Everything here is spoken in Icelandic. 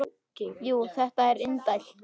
Jú, þetta er indælt